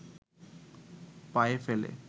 পায়ে ফেলে